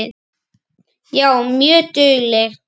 Já, mjög dugleg.